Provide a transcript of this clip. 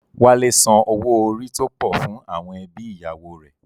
Wálé san owó orí tó pọ̀ fún àwọn ẹbí ìyàwó rẹ̀